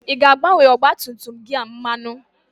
Ị ga-agbanye ọgba tum tum gị a mmanụ?